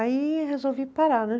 Aí resolvi parar, né?